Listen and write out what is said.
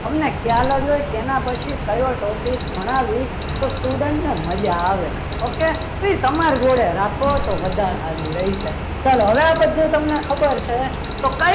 અમને ખ્યાલ જ હોય કે ના પછી કયો topic ભણાવી તો student ને મજા આવે okay તો એ તમારી જોડે રાખો વધારે સારું રહેશે ચાલો હવે આ બધું તમને ખબર છે.